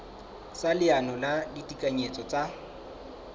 sa leano la ditekanyetso tsa